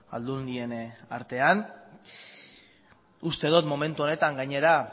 aldundien artean uste dut momentu honetan gainera